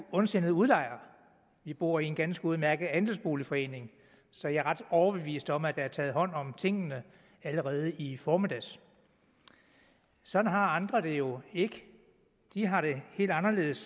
ondsindet udlejer vi bor i en ganske udmærket andelsboligforening så jeg er ret overbevist om at der er taget hånd om tingene allerede i formiddag sådan har andre det jo ikke de har det helt anderledes